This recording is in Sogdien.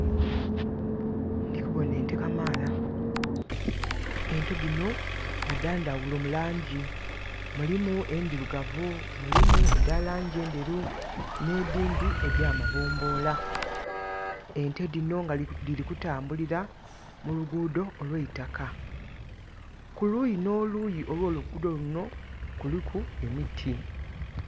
Ndikuboona ente kamala. Nte dino nga dandawulo mu langi. Mulimu endirugavu, mulimu eda langi enderu nedindi eda mabombola. Ente dino diri kutambulira mu luguudo olweitaka. Kuluyi no luyi olwo luguudo lunno kuliku emiti